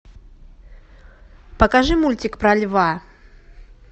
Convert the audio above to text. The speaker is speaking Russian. покажи мультик про льва